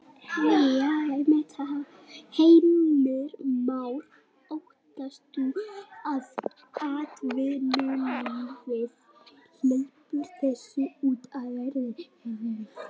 Heimir Már: Óttast þú að atvinnulífið hleypir þessu út í verðlagið?